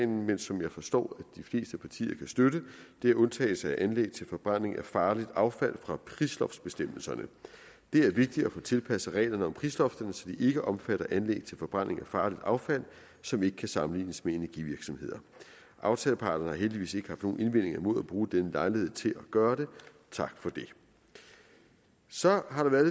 men som jeg forstår at de fleste partier kan støtte det er undtagelse af anlæg til forbrænding af farligt affald fra prisloftbestemmelserne det er vigtigt at få tilpasset reglerne om prisloftet så de ikke omfatter anlæg til forbrænding af farligt affald som ikke kan sammenlignes med energivirksomheder aftaleparterne har heldigvis ikke haft nogen indvendinger imod at bruge denne lejlighed til at gøre det tak for det så har der været